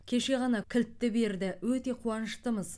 кеше ғана кілтті берді өте қуаныштымыз